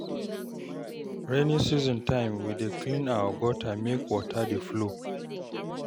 Rainy season time, we dey clean our gutter make water dey flow.